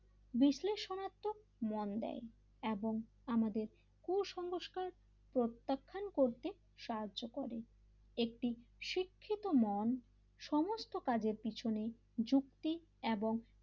বিশ্লেষণাত্মক মন দেয় এবং আমাদের কুসংস্কার প্রত্যাখ্যান করতে সাহায্য করে একটি শিক্ষিত মন সমস্ত কাজের পেছনে যুক্তি এবং,